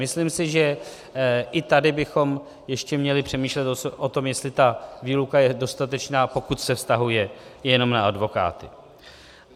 Myslím si, že i tady bychom ještě měli přemýšlet o tom, jestli ta výluka je dostatečná, pokud se vztahuje jenom na advokáty.